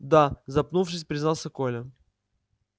да запнувшись признался коля